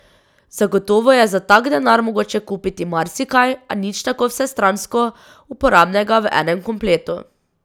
Zagotovo je za tak denar mogoče kupiti marsikaj, a nič tako vsestransko uporabnega v enem kompletu.